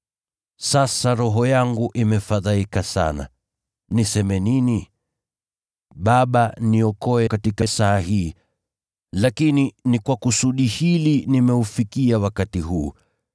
“Sasa roho yangu imefadhaika sana. Niseme nini? ‘Baba, niokoe katika saa hii.’ Lakini ni kwa kusudi hili nimeufikia wakati huu.